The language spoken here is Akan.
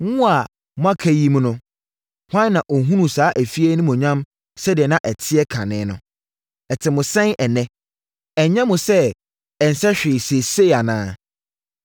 ‘Mo a mo aka yi mu hwan na ɔhunuu saa fie yi animuonyam sɛdeɛ na ɛteɛ kane no? Ɛte mo sɛn ɛnnɛ? Ɛnyɛ mo sɛ ɛnsɛ hwee seesei anaa?